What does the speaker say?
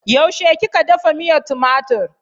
Yaushe kika dafa miyar tumatur?